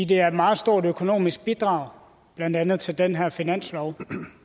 det er et meget stort økonomisk bidrag blandt andet til den her finanslov